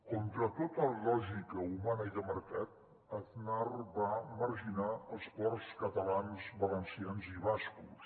contra tota lògica humana i de mercat aznar va marginar els ports catalans valencians i bascos